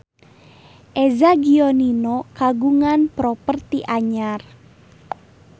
Eza Gionino kagungan properti anyar